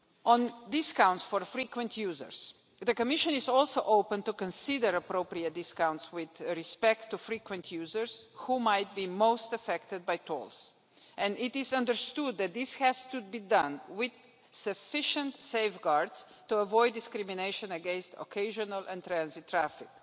On discounts counts for frequent users, the Commission is also open to consider appropriate discounts with respect to frequent users who might be most affected by tolls, and it is understood that this has to be done with sufficient safeguards to avoid discrimination against occasional and transit traffic,